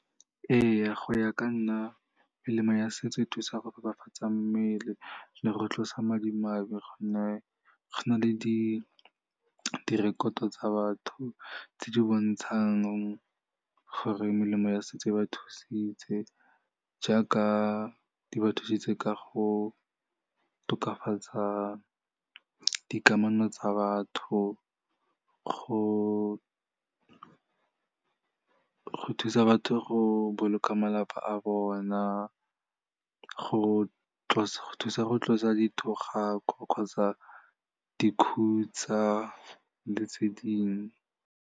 Ee, go ya ka nna melemo ya setso e thusa go tokafatsa mmele le go tlosa madimabe, gonne go na le direkoto tsa batho tse di bontshang gore melemo ya setso e ba thusitse, jaaka di ba thusitse ka go tokafatsa dikamano tsa batho, go thusa batho go boloka malapa a bona, go thusa go tlosa dithogako kgotsa dikhutsa le tse dingwe.